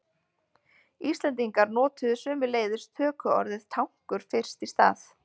Íslendingar notuðu sömuleiðis tökuorðið tankur fyrst í stað.